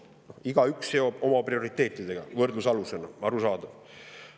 Igaüks oma prioriteete võrdlusalusena, arusaadav.